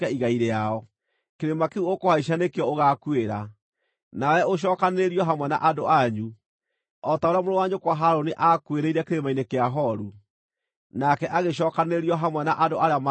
Kĩrĩma kĩu ũkũhaica nĩkĩo ũgaakuĩra, nawe ũcookanĩrĩrio hamwe na andũ anyu, o ta ũrĩa mũrũ wa nyũkwa Harũni aakuĩrĩire kĩrĩma-inĩ kĩa Horu, nake agĩcookanĩrĩrio hamwe na andũ arĩa manakua.